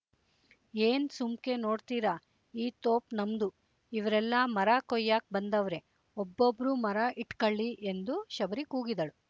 ಏನ್ ಸುಮ್ಕೆ ನೋಡ್ತೀರ ಈ ತೋಪ್ ನಮ್ದು ಇವ್ರೆಲ್ಲ ಮರ ಕೊಯ್ಯಾಕ್ ಬಂದವ್ರೆ ಒಬ್ಬೊಬ್ರೂ ಮರ ಇಟ್ಕಳ್ಳಿ ಎಂದು ಶಬರಿ ಕೂಗಿದಳು